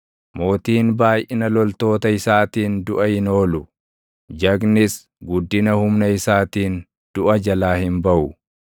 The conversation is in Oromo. Mootiin baayʼina loltoota isaatiin duʼa hin oolu; jagnis guddina humna isaatiin duʼa jalaa hin baʼu.